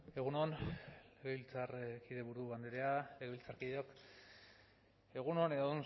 egun on legebiltzarkide buru andrea legebiltzarkideok egun on edo